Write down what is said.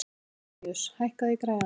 Antoníus, hækkaðu í græjunum.